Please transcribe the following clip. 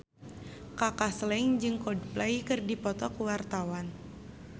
Kaka Slank jeung Coldplay keur dipoto ku wartawan